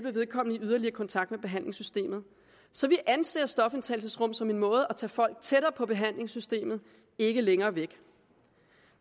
at komme i yderligere kontakt med behandlingssystemet så vi anser stofindtagelsesrum som en måde at tage folk tættere på behandlingssystemet ikke længere væk